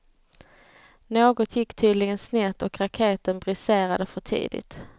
Något gick tydligen snett och raketen briserade för tidigt.